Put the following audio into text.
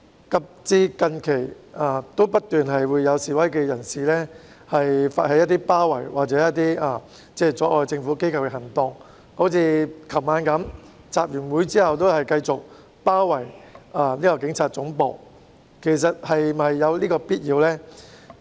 及至最近，仍然不斷有示威人士發起包圍或阻礙政府機構的行動，例如昨晚示威者集會後繼續包圍警察總部，其實是否有此必要呢？